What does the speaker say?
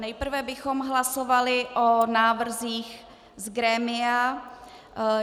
Nejprve bychom hlasovali o návrzích z grémia.